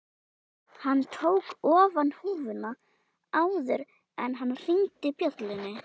Hann tók ofan húfuna áður en hann hringdi bjöllunni